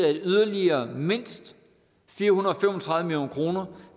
at yderligere mindst fire hundrede og fem og tredive million kroner